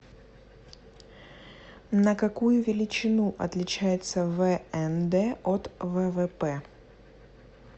на какую величину отличается внд от ввп